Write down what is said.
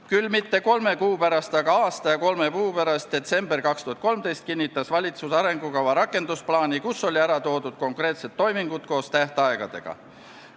Küll mitte kolme kuu pärast, aga aasta ja kolme kuu pärast, detsembris 2013 kinnitas valitsus arengukava rakendusplaani, milles olid ära toodud konkreetsed toimingud koos tähtaegadega.